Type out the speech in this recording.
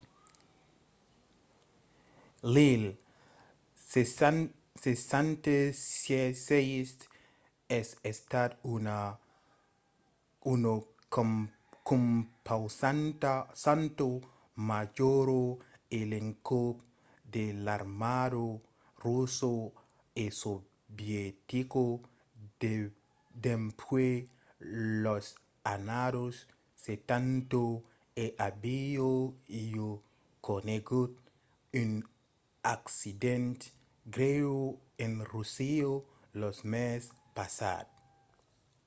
l’il-76 es estat una compausanta majora a l'encòp de l’armada russa e sovietica dempuèi las annadas setanta e aviá ja conegut un accident grèu en russia lo mes passat